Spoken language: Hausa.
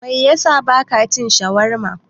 Me yasa bakya cin shawarma?